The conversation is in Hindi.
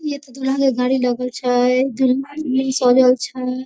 ये तो दुल्हन के गाड़ी लगल छै दुल्हन भी सजल छै।